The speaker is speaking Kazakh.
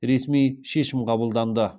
ресми шешім қабылданды